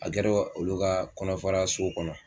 A kɛra olu ka kɔnɔfara so kɔnɔ